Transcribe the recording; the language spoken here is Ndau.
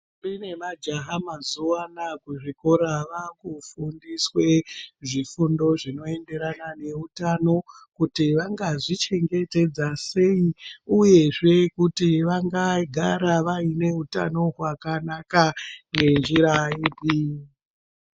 ...mbi nemajaha mazuva anaa kuzvikora vaakufundiswe zvifundo zvinoenderana neutano. Kuti vangazvichengetedza sei uyezve kuti vangagara vaine utano hwakanaka ngenjira ipi.